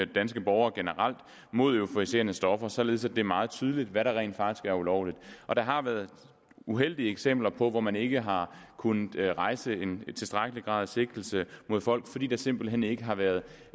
danske borgere generelt mod euforiserende stoffer således at det er meget tydeligt hvad der rent faktisk er ulovligt der har været uheldige eksempler på at man ikke har kunnet rejse en tilstrækkelig grad af sigtelse mod folk fordi der simpelt hen ikke har været